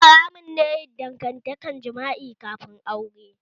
Haramun ne yin dangantakar jima'i kafin aure